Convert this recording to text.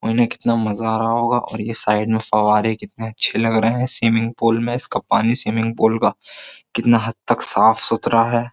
उन्हें कितना मज़ा आ रहा होगा और ये साइड में फव्वारे कितने अच्छे लग रहे हैं स्विमिंग पूल में इसका पानी स्विमिंग का कितना हद तक साफ़ सुथरा है।